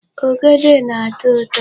Ogede na-atọ ụtọ.